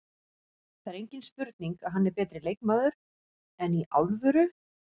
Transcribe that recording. Það er engin spurning að hann er betri leikmaður, enn í alvöru?